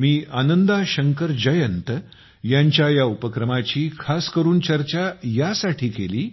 मी आनंदा शंकर जयंत यांच्या या उपक्रमाची खासकरून चर्चा यासाठी केली